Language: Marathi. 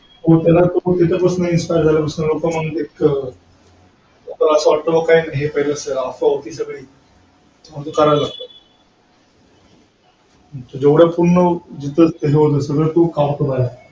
आम्हाला त्यांना बघून थोडा वेगळे वाटायचं, आज हे आले काही नाही तरी आम्हाला बिस्कीट चा पुडा तरी भेटेलच.